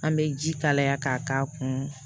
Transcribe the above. An bɛ ji kalaya k'a k'a kun